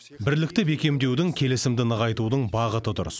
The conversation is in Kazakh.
бірлікті бекемдеудің келісімді нығайтудың бағыты дұрыс